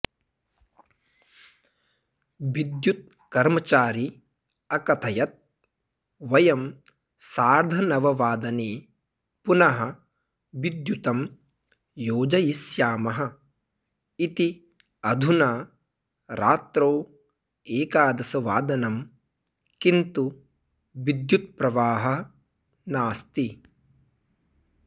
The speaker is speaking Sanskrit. विद्युतकर्मचारी अकथयत् वयं सार्धनववादने पुनः विद्युतं योजयिष्यामः इति अधुना रात्रौ एकादशवादनं किन्तु विद्युतप्रवाहः नास्ति